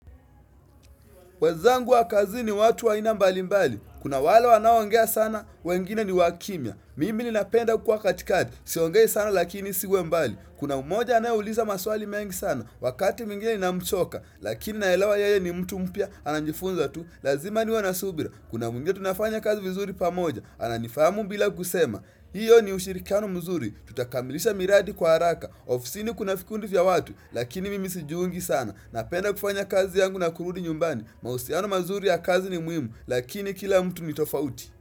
Wenzangu wa kazini ni watu wa aina mbali mbali. Kuna wale wanao ongea sana, wengine ni wakimia. Mimi ni napenda kuwa katikati, siongei sana lakini isiwe mbali. Kuna umoja anayeuliza maswali mengi sana, wakati mwingine ninamchoka, lakini naelewa yeye ni mtu mpya, anajifunza tu, lazima niwe na subira. Kuna mwingine tunafanya kazi vizuri pamoja, ananifahamu bila kusema. Hiyo ni ushirikiano mzuri, tutakamilisha miradi kwa haraka ofisi ni kuna vikundi vya watu, lakini mimi sijiungi sana Napenda kufanya kazi yangu na kurudi nyumbani mahusiano mazuri ya kazi ni muhimu, lakini kila mtu ni tofauti.